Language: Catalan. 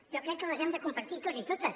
jo crec que les hem de compartir tots i totes